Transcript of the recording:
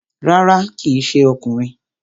Rárá, kíì ṣe ọkùnrin